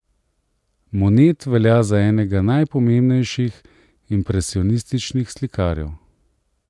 Monet velja za enega najpomembnejših impresionističnih slikarjev.